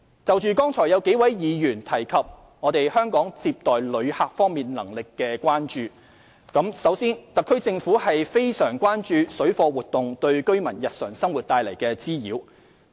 就剛才有數位議員提及對香港在接待旅客方面能力的關注，首先，特區政府非常關注水貨活動對居民日常生活帶來的滋擾。